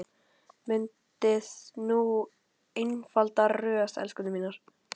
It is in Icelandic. Myndið nú einfalda röð, elskurnar mínar.